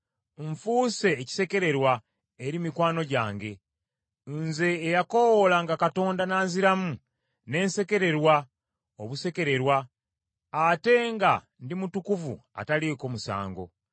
Nfuuse ekisekererwa eri mikwano gyange. Nze eyakoowolanga Katonda n’anziramu, ne nsekererwa obusekererwa, ate nga ndi mutukuvu ataliiko musango!